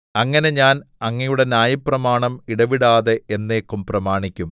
അങ്ങനെ ഞാൻ അങ്ങയുടെ ന്യായപ്രമാണം ഇടവിടാതെ എന്നേക്കും പ്രമാണിക്കും